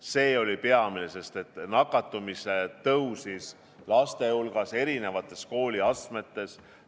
See oli peamine, sest nakatumisnäitajad kasvasid laste hulgas eri kooliastmetes.